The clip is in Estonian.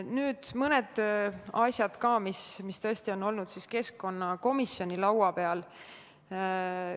Nüüd mõnedest asjadest, mis tõesti on olnud keskkonnakomisjoni laua peal.